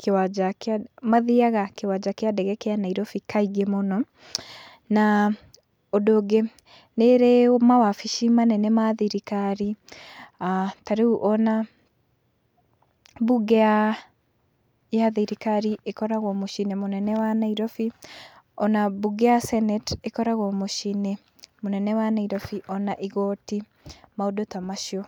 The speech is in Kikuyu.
kĩwanja kĩa mathiaga kĩwanja kĩa ndege kĩa Nairobi kaingĩ mũno, na ũndũ ũngĩ nĩ ĩrĩ mawabici manene ma thirikari, ta rĩu ona bunge ya thirikari ĩkoragwo mũciĩ-inĩ mũnene wa Nairobi, ona bunge ya senate ĩkoragwo mũciĩ-inĩ mũnene wa nairobi ona igoti maũndũ ta macio.